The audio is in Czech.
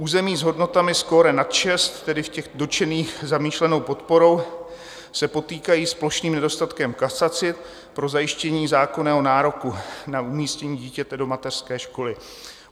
Území s hodnotami skóre nad 6, tedy v těch dotčených zamýšlenou podporou, se potýkají s plošným nedostatkem kapacit pro zajištění zákonného nároku na umístění dítěte do mateřské školy.